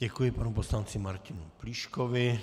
Děkuji panu poslanci Martinu Plíškovi.